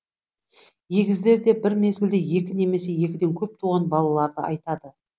егіздер деп бір мезгілде екі немесе екіден көп туған балаларды айтады